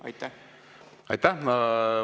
Aitäh!